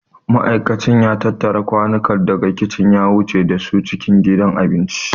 Ma'aikacin ya tattara kwanukan daga kicin ya wuce da su cikin gidan abinci.